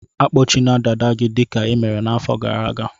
Akpọchina dada gị dịka i mere n'afọ gara aga!